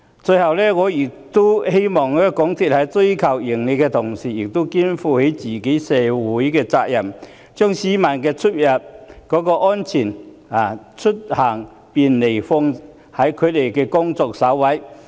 最後，我希望港鐵公司在追求盈利的同時，亦能肩負社會責任，把市民的出行安全及便利放在工作首位。